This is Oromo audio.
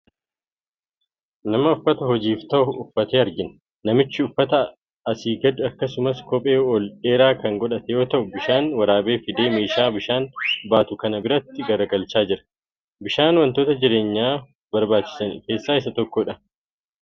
Nama uffata hojiif ta'u uffate argina. Namichi uffata asii gadii akkasumas kophee ol dheeraa kan godhate yoo ta’u bishaan waraabee fidee meeshaa bishaan baatu kan biraatti galagalchaa jira. Bishaan wantoota jireenyaa barbaachisan keessaa tokko.